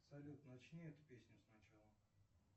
салют начни эту песню сначала